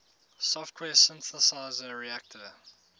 software synthesizer reaktor